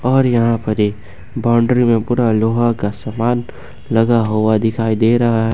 और यहां पर ये बाउंड्री में पूरा लोहा का सामान लगा हुआ दिखाई दे रहा--